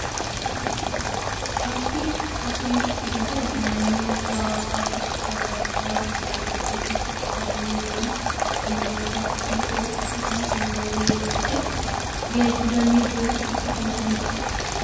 Bakki kosii itti gatan naannoo xuraa'aawwan gosoota adda addaa bakka tokkotti walitti qabamanii jiran konkolaataa kosii fe'uun akkasumas meeshaalee biroon ittiin geejjibanii iddoo tokkotti kuusanidha. Wantoota xuraa'aa kan jennu wantoota akkamiiti?